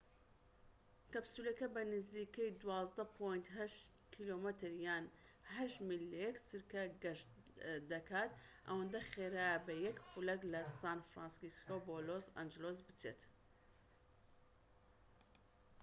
کەپسولەکە بە نزیکەی 12.8 کم یان 8 میل لە یەک چرکە گەشت دەکا ئەوەندە خێرایە بە یەک خولەك لە سان فرانسیسکۆ بۆ لۆس ئەنجلس بچێت